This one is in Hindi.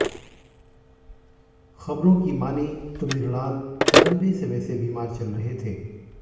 खबरों की मानें तो मृणाल लम्बे समय से बीमार चल रहे थे